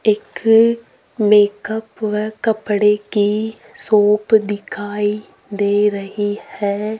एक मेकअप हुआ कपड़े कि शॉप दिखाइ दे रही हैं।